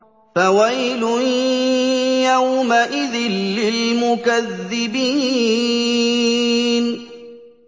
فَوَيْلٌ يَوْمَئِذٍ لِّلْمُكَذِّبِينَ